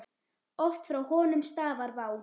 Oft frá honum stafar vá.